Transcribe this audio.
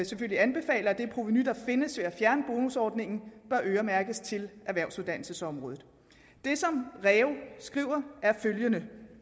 selvfølgelig anbefaler at det provenu der findes ved at fjerne bonusordningen øremærkes til erhvervsuddannelsesområdet det som reu skriver er følgende